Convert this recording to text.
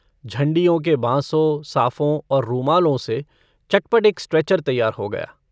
झण्डियों के बॉसों साफों और रूमालों से चटपट एक स्ट्रेचर तैयार हो गया।